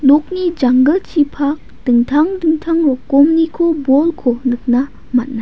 nokni janggilchipak dingtang dingtang rokomniko bolko nikna man·a.